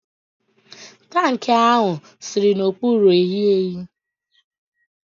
tankị ahụ si n'okpuru ehiehi